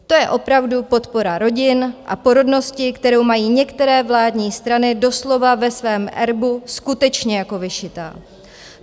To je opravdu podpora rodin a porodnosti, kterou mají některé vládní strany doslova ve svém erbu skutečně jako vyšitá.